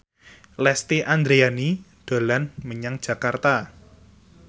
Lesti Andryani dolan menyang Jakarta